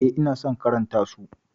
Eh, ina son karanta su.